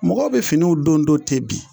Mɔgɔw bɛ finiw don don ten bi